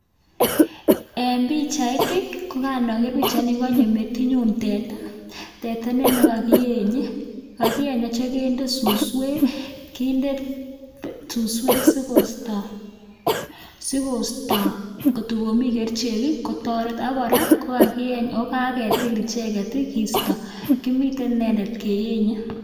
En pichait ii, ko kan oger pichaini ko konyo metinyun teta. Teta ne kogiyenye, kogiyenye oginde suswek, kinde suswek sigosto kotokomikerichek ii, kotoret ak kora kogakiyeny ago kagetil icheget ii kisto kimiten inendet keyenye.